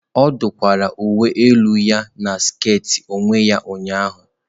Ọ dụkwara uwe elu ya na sket onwe ya ụnyahụ.